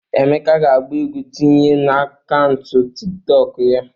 Emeka ga-agba egwu tinye n'akaụntụ Tiktọkụ ya.